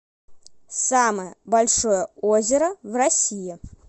самое большое озеро в россии